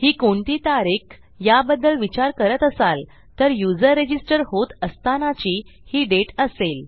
ही कोणती तारीख याबद्दल विचार करत असाल तर युजर रजिस्टर होत असतानाची ही दाते असेल